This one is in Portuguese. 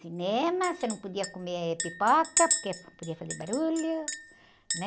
Cinema, você não podia comer pipoca porque podia fazer barulho, né?